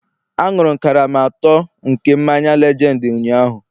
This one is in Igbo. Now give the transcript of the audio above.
Aṅụrụ m karama atọ nke mmanya lejendi ụnyaahụ